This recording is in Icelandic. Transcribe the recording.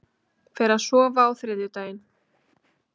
Fer að sofa á þriðjudaginn